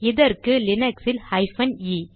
இதற்கு லீனக்ஸ் இல் ஹைபன் இ